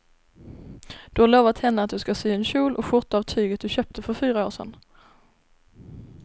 Du har lovat henne att du ska sy en kjol och skjorta av tyget du köpte för fyra år sedan.